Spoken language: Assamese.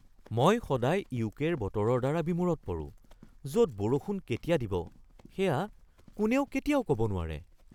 মই সদায় ইউকে-ৰ বতৰৰ দ্বাৰা বিমোৰত পৰো য'ত বৰষুণ কেতিয়া দিব সেয়া কোনেও কেতিয়াও ক'ব নোৱাৰে।